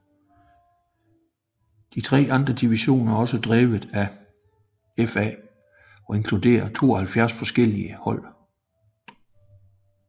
De tre andre divisioner er også drevet af FA og inkluderer 72 forskellige hold